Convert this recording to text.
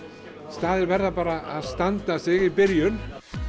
staðir verða bara að standa sig í byrjun